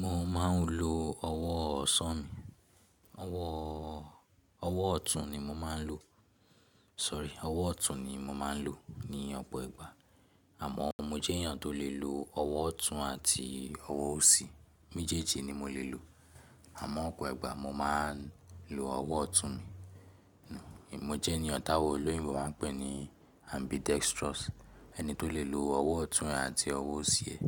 Mo ma n lo ọwọ osan mi, ọwọ ọtun ni mo ma n lo, sorry ọwọ ọtun ni mo ma n lo ni ọ̀pọ̀ ìgbà, àmọ mo jẹ́ ènìyàn tó lè lo ọwọ ọtun àti ọwọ òsì, méjèèjì ni mo lè lo, àmọ́ ọ̀pọ̀ ẹgba mo máa n lo ọwọ ọtun mi, mo jẹ́ ènìyàn táwọn olóyìnbo máa n pè ní ambidextrous, ẹni tó lè lo ọwọ ọtun àti ọwọ òsì ẹ̀,